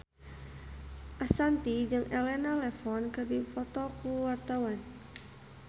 Ashanti jeung Elena Levon keur dipoto ku wartawan